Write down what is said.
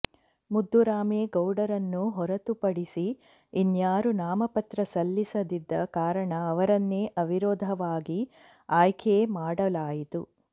ಮುದ್ದುರಾಮೇಗೌಡರನ್ನು ಹೊರತುಪಡಿಸಿ ಇನ್ಯಾರೂ ನಾಮಪತ್ರ ಸಲ್ಲಿಸದಿದ್ದ ಕಾರಣ ಅವರನ್ನೇ ಅವಿರೋಧವಾಗಿ ಆಯ್ಕೆ ಮಾಡಲಾಯಿತು